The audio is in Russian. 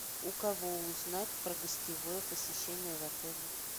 у кого узнать про гостевое посещение в отеле